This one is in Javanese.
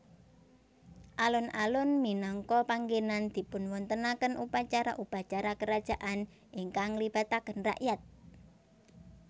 Alun alun minangka panggènan dipunwontenaken upacara upacara kerajaan ingkang nglibataken rakyat